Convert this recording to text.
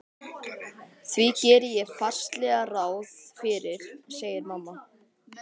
Því geri ég fastlega ráð fyrir, segir mamma.